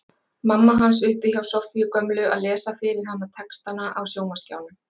Mamma hans uppi hjá Soffíu gömlu að lesa fyrir hana textana á sjónvarpsskjánum.